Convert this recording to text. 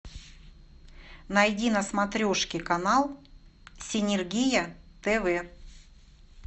найди на смотрешке канал синергия тв